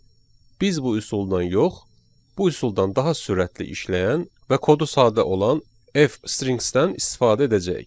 Biz bu üsuldan yox, bu üsuldan daha sürətli işləyən və kodu sadə olan F-strings-dən istifadə edəcəyik.